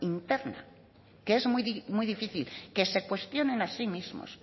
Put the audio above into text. interna que es muy difícil que se cuestionen a sí mismos